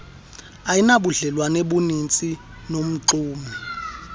ayinabudlelwane buninzi nomxumi